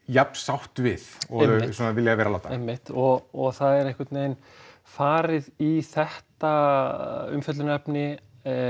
jafn sátt við og þau svona vilja vera láta einmitt og það er einhvern veginn farið í þetta umfjöllunarefni